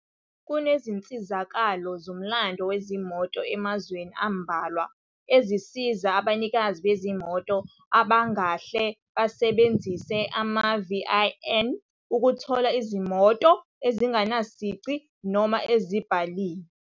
Kunezinsizakalo zomlando wezimoto emazweni ambalwa ezisiza abanikazi bezimoto abangahle basebenzise ama-VIN ukuthola izimoto ezingenasici noma ezibhaliwe.